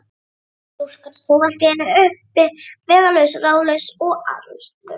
Stúlkan stóð allt í einu uppi vegalaus, ráðalaus og allslaus.